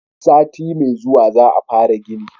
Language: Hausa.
sati mai zuwa za a fara gini